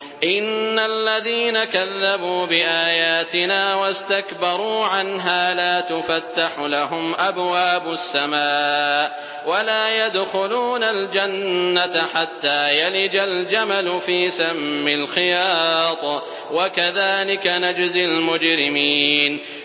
إِنَّ الَّذِينَ كَذَّبُوا بِآيَاتِنَا وَاسْتَكْبَرُوا عَنْهَا لَا تُفَتَّحُ لَهُمْ أَبْوَابُ السَّمَاءِ وَلَا يَدْخُلُونَ الْجَنَّةَ حَتَّىٰ يَلِجَ الْجَمَلُ فِي سَمِّ الْخِيَاطِ ۚ وَكَذَٰلِكَ نَجْزِي الْمُجْرِمِينَ